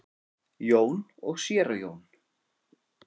Jón og séra Jón